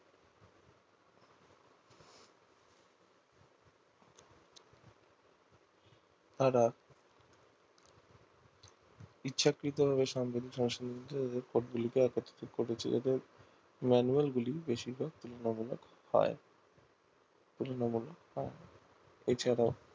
ইচ্ছাকৃত ভাবে সাম্প্রতিক report গুলি কে একত্রিত করেছে এদের manual গুলি বেশিরভাগ তুলনামূলক হয় তুলনামূলক হয় এছাড়াও